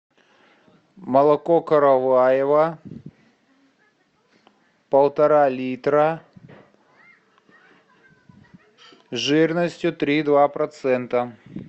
молоко караваево полтора литра жирностью три и два процента